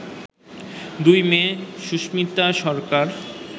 দুই মেয়ে সুস্মিতাসরকার